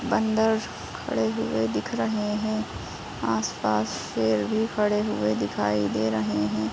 बन्दर खड़े हुए दिख रहे हैं। आसपास शेर भी खड़े हुए दिखाई दे रहे हैं।